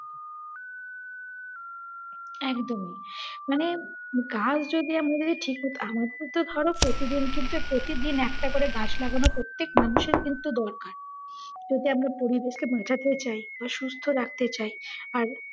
একদমই। মানে গাছ যদি আমাদের ঠিক~ আমাদের তো ধরো প্রতিদিন কিন্তু প্রতিদিন একটা করে গাছ লাগানো প্রতেক মানুষের কিন্তু দরকার যদি আমরা পরিবেশকে বাঁচাতে চাই বা সুস্থ রাখতে চাই। আর,